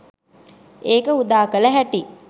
ඒක උදාකල හැටි